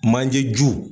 Manje ju